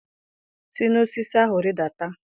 Si n'osisi ahụ rịdata!